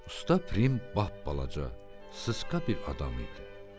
Usta Frim bap balaca, sısqa bir adam idi.